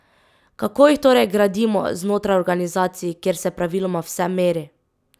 Kako jih torej gradimo znotraj organizacij, kjer se praviloma vse meri?